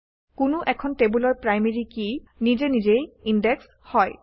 কোনো এখন টেবুলৰ প্ৰাইমেৰী কি নিজে নিজেই ইনডেক্সড হয়